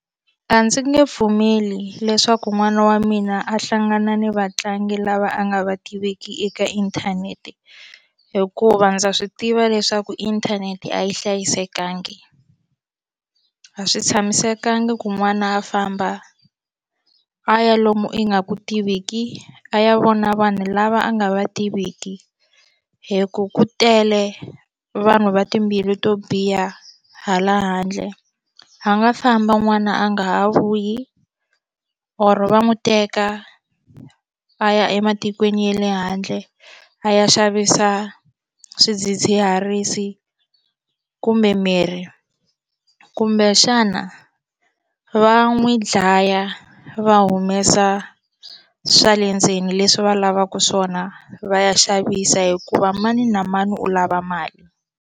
A ndzi nge pfumeli leswaku n'wana wa mina a hlangana ni vatlangi lava a nga va tiveki eka inthanete hikuva ndza swi tiva leswaku inthanete a yi hlayisekangi a swi tshamisekanga ku n'wana a famba a ya lomu ingaku tiveki a ya vona vanhu lava a nga va tiviki hi ku ku tele vanhu va timbilu to biha hala handle a nga famba n'wana a nga ha vuyi or va n'wi teka a ya ematikweni ya le handle a ya xavisa swidzidziharisi kumbe miri kumbe xana va n'wi dlaya va humesa swa le ndzeni leswi va lavaka swona va ya xavisa hikuva mani na mani u lava mali.